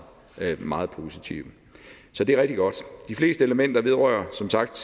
været meget positive så det er rigtig godt de fleste elementer vedrører som sagt